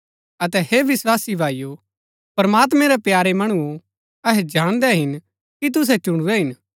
अतै हे विस्वासी भाईओ प्रमात्मैं रै प्यारे मणुओ अहै जाणदै हिन कि तुसै चुणुरै हिन